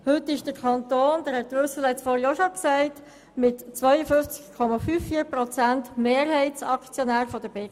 Heute ist der Kanton mit 52,54 Prozent Mehrheitsaktionär der BKW.